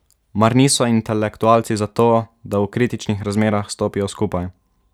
Mar niso intelektualci za to, da v kritičnih razmerah stopijo skupaj?